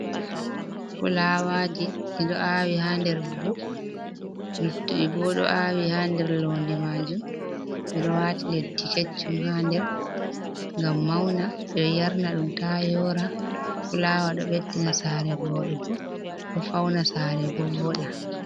Fulawaji ɗiɗo awi ha nder buhu luttuɗi bo ɗo awi ha der londe majum ɓeɗo wati leddi keccum ha nder gam mauna, ɓiɗo yarna ɗum ta yora fulawa ɗo ɓedina sare voɗugo ɗo fauna sare bo voɗa.